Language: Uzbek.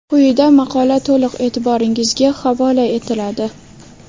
Quyida maqola to‘liq e’tirboringizga havola etiladi.